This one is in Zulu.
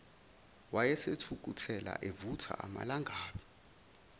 wayesethukuthele evutha amalangabi